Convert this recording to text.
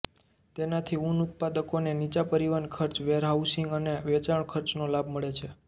તેનાથી ઊન ઉત્પાદકોને નીચા પરિવહન ખર્ચ વેરહાઉસિંગ અને વેચાણ ખર્ચનો લાભ મળે છે